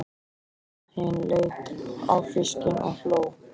Abba hin leit á fiskinn og hló.